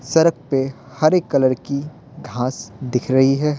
सड़क पे हरे कलर की घास दिख रही है।